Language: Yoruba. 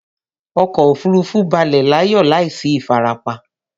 Ọkọ òfurufú balẹ̀ láyọ̀ láìsí ìfarapa